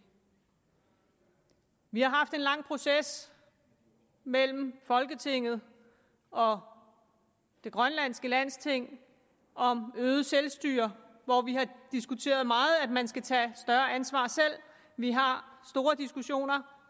vi har haft en lang proces mellem folketinget og det grønlandske landsting om øget selvstyre hvor vi har diskuteret meget at man skal tage større ansvar selv vi har store diskussioner